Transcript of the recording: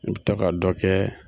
O ta ga dɔ kɛ